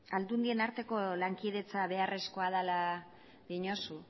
aldundien arteko lankidetza beharrezkoa dela diozu